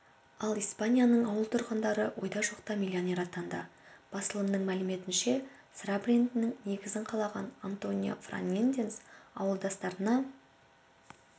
ал испанияның ауыл тұрғындары ойда-жоқта миллионер атанды басылымының мәліметінше сыра брендінің негізін қалаған антонио фернандес ауылдастарына